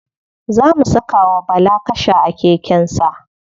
Za mu saka wa bala kasha a keken sa.